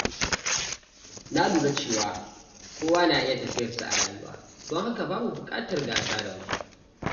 Na lura cewa kowa yana da tafiyarsa a rayuwa, don haka babu buƙatar gasa da wasu.